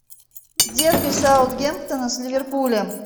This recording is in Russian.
дерби саутгемптона с ливерпулем